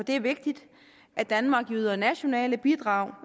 det er vigtigt at danmark yder nationale bidrag